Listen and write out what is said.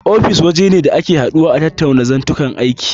Ofis waje ne da ake haduwa a tattauna zantuka aiki.